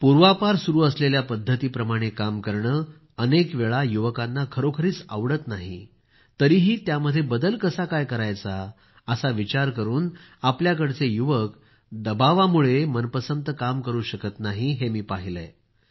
पूर्वापार सुरू असलेल्या पद्धतीप्रमाणं काम करणं अनेकवेळा युवकांना खरोखरीच आवडत नाही तरीही त्यामध्ये बदल कसा काय करायचा असा विचार करून आपल्याकडचे युवक दबावामुळं मनपसंत काम करू शकत नाहीत हे मी पाहिलं आहे